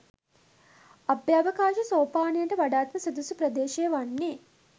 අභ්‍යවකාශ සෝපානයට වඩාත්ම සුදුසු ප්‍රදේශය වන්නේ